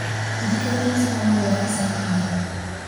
ndirikania mũcemanio wa ica ikuhĩ